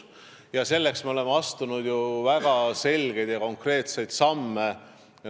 Ja selle nimel me oleme astunud väga konkreetseid samme.